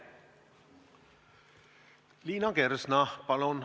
Liina Kersna, palun!